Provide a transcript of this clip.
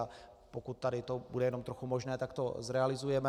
A pokud tady to bude jenom trochu možné, tak to zrealizujeme.